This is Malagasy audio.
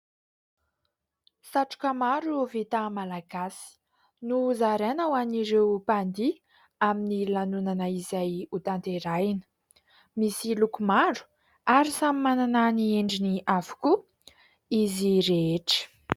Satroka maro vita malagasy no zaraina ho an'ireo mpandihy amin'ny lanonana izay hotanterahina. Misy loko maro ary samy manana ny endriny avokoa izy rehetra.